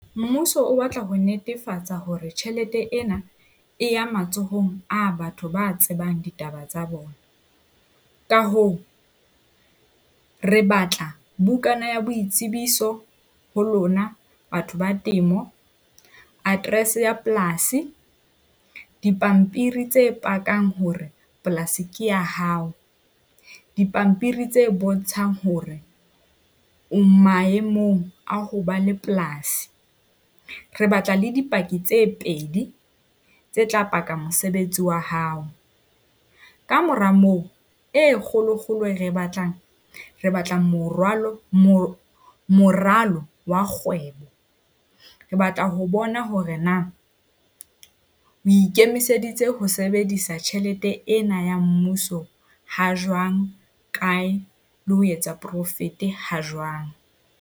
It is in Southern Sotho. Mmuso o batla ho netefatsa hore tjhelete ena e ya matsohong a batho ba tsebang ditaba tsa bona. Ka hoo re batla bukana ya boitsebiso ho lona batho ba temo, address ya polasi, dipampiri tse pakang hore polasi ke ya hao, dipampiri tse bontshang hore o maemong a ho ba le polasi. Re batla le dipaki tse pedi tse tla paka mosebetsi wa hao. Kamora moo e kgolokgolo e re e batlang re batlang morwalo. Moralo wa kgwebo. Re batla ho bona hore na o ikemiseditse ho sebedisa tjhelete ena ya mmuso ha jwang kae, le ho etsa profit ha jwang.